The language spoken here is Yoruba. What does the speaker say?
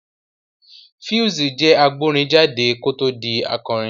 Pheelz jẹ́ agbórin jáde kó tó di akọrin